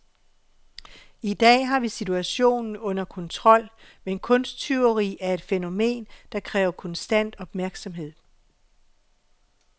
I dag har vi situationen under kontrol, men kunsttyveri er et fænomen, der kræver konstant opmærksomhed.